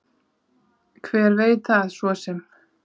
Hver veit það svo sem.